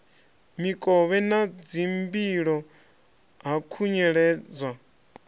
mikovhe na dzimbilo ha khunyeledzwa